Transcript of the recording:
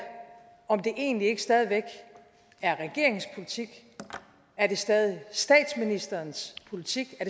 om det egentlig ikke stadig væk er regeringens politik er det stadig statsministerens politik og